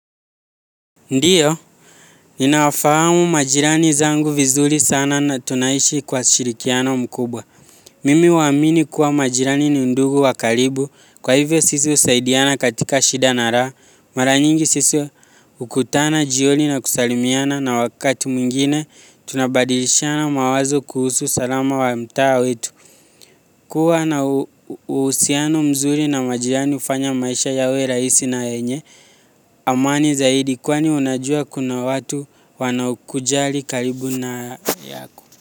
Ndio, ninawafahamu majirani zangu vizuri sana na tunaishi kwa shirikiano mkubwa. Mimi huamini kuwa majirani ni ndugu wa karibu, kwa hivyo sisi husaidiana katika shida na raha. Mara nyingi sisi hukutana, jioni na kusalimiana na wakati mwingine, tunabadilishana mawazo kuhusu usalama wa mtaa wetu. Kuwa na uhusiano mzuri na majirani hufanya maisha yawe rahisi na yenye. Amani zaidi kwani unajua kuna watu wanaokujali karibu na yako.